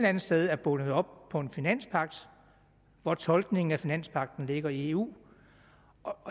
andet sted er bundet op på en finanspagt hvor tolkningen af finanspagten ligger i eu